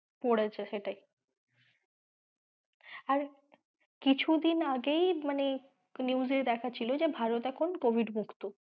পড়েছে সেটাই আর কিছুদিন আগেই মানে news এ দেখাচ্ছিল যে ভারত এখন covid মুক্ত।